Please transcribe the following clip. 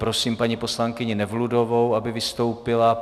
Prosím paní poslankyni Nevludovou, aby vystoupila.